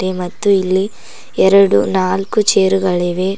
ಮತ್ತು ಇಲ್ಲಿ ಎರಡು ನಾಲ್ಕು ಚೇರುಗಳಿವೆ.